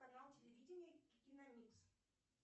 канал телевидения киномикс